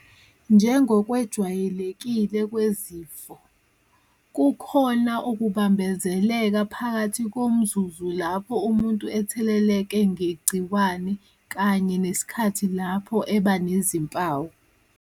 Njengokwejwayelekile kwezifo, kukhona ukubambezeleka phakathi komzuzu lapho umuntu etheleleke ngegciwane kanye nesikhathi lapho eba nezimpawu.